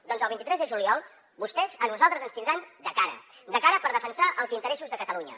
doncs el vint tres de juliol vostès a nosaltres ens tindran de cara de cara per defensar els interessos de catalunya